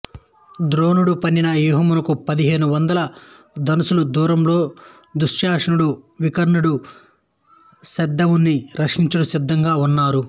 ద్రోణుడు పన్నిన వ్యూహముకు పదిహేను వందల ధనస్సుల దూరంలో దుశ్శాసనుడు వికర్ణుడు సైంధవుని రక్షించుటకు సిద్ధంగా ఉన్నారు